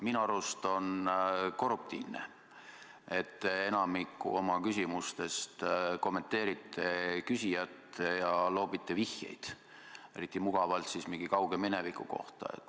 Minu arust on korruptiivne, et te enamikus oma vastustes kommenteerite küsijat ja loobite vihjeid, eriti mugavalt, kui mingi kauge mineviku kohta.